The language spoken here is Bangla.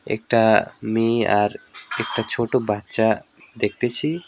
একটা মেয়ে আর একটা ছোট বাচ্চা দেখতেছি।